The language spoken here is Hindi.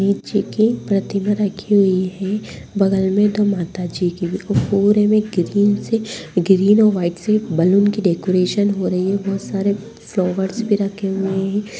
गणेश जी की प्रतिमा रखी हुई है बगल मे दो माता जी की पूरे में ग्रीन से ग्रीन और व्हाइट बैलून से डेकोरेशन हो रही है बहुत सारे फ्लॉवर्स भी रखे हुए है।